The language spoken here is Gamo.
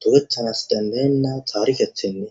dogetanasi danae'na tarike tene.